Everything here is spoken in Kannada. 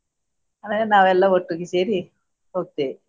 ಆಮೇಲೆ ನಾವೆಲ್ಲರೂ ಒಟ್ಟಿಗೆ ಸೇರಿ ಹೋಗ್ತಿವಿ.